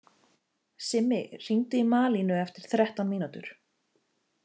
Simmi, hringdu í Malínu eftir þrettán mínútur.